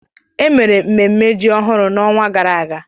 Emere mmemme ji ọhụrụ n'ọnwa gara aga.